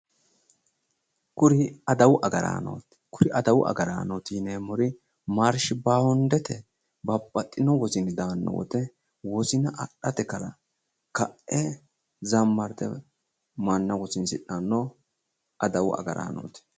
Kuri adawu agaraanooti kuri adawu agaraanooti yineemmori maarshi baandete babbaxxino wosini daanno woyiite wosina adhate ka'e zammarte manna wosidhanno adawu agaraanooti